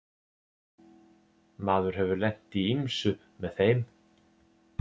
Maður hefur lent í ýmsu með þeim.